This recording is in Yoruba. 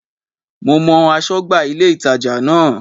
Mo mọ aṣọ́gbà ilé-ìtàjà náà